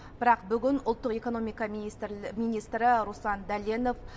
бірақ бүгін ұлттық экономика министрі руслан дәленов